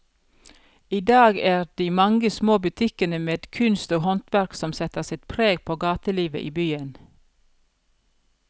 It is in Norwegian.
I dag er det de mange små butikkene med kunst og håndverk som setter sitt preg på gatelivet i byen.